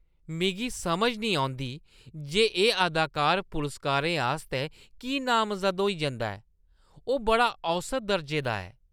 मिगी समझ नेईं औंदी जे ओह् अदाकार पुरस्कारें आस्तै की नामजद होई जंदा ऐ। ओह् बड़ा औसत दर्जे दा ऐ।